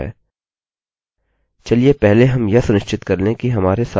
चलिए पहले हम यह सुनिश्चित कर लें कि हमारे सारे रिकार्डस पूरे हैं